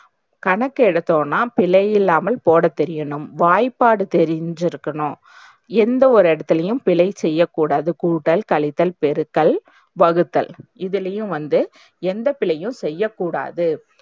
கணக்கு எடுத்தோம்னா பிழையில்லாமல் போடத்தெரியனும். வாய்ப்பாடு தெரிஞ்சிருக்கணும் எந்த ஒரு இடத்துலையும் பிழை செய்யக்கூடாது. கூட்டல், கழித்தல், பெருக்கல், வகுத்தல், இதுலயும் வந்து எந்த பிழையும் செய்யக்கூடாது.